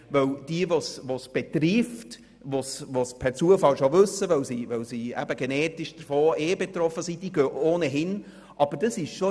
Denn diejenigen, die es betrifft, die es per Zufall schon wissen, weil sie genetisch davon betroffen sind, gehen ohnehin in die Vorsorgeuntersuchung.